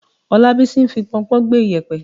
Ọlábísí ń fi pọnpọ́n gbẹ́ yèpẹ̀.